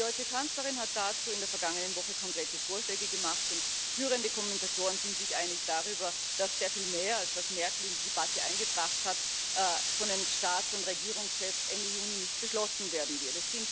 Die deutsche Kanzlerin hat dazu in der vergangenen Woche konkrete Vorschläge gemacht, und führende Kommentatoren sind sich einig darüber, dass sehr viel mehr als das, was Merkel in die Debatte eingebracht hat, von den Staats und Regierungschefs Ende Juni nicht beschlossen werden wird.